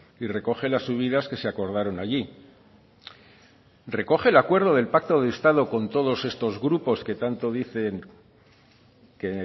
y recoge las subidas que se acordaron allí recoge el acuerdo del pacto de estado con todos estos grupos que tanto dicen que